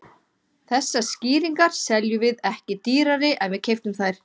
Þessar skýringar seljum við ekki dýrari en við keyptum þær.